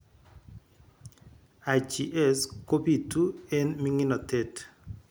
IGS kobitu eng' ming'inotet